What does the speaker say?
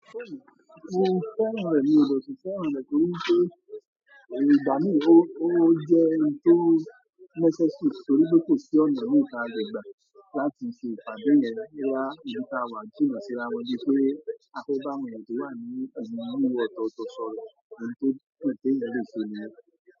Ó ti fẹ́ràn rẹ̀ ni, ó sì fẹ́ràn rẹ̀ torí pé ìgbà míì ó, ó jẹ́ ohun tó necessary torí pé kò sí ọ̀nà míì tí a lè gba láti ṣe ìpàdé yẹn bóyá ibi tí àwa ti rìn síra mọ bí pé a tó bá mọ ẹni tó wà ní inú inú ọ̀tọ̀ tó sọ̀rọ̀, ohun tó pẹ̀ tí ń lè ṣe ni ẹ́